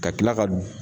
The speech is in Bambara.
Ka tila ka